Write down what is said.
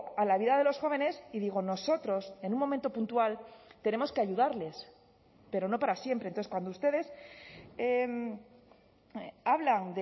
a la vida de los jóvenes y digo nosotros en un momento puntual tenemos que ayudarles pero no para siempre entonces cuando ustedes hablan